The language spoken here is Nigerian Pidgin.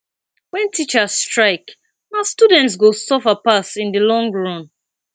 wen teachers strike na students go suffer pass in di long run